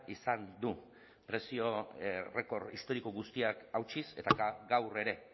izan du prezio errekor historiko guztiak hautsiz eta gaur ere